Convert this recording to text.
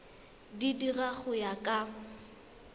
di dira go ya ka